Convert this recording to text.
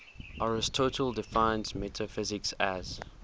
aristotle defines metaphysics as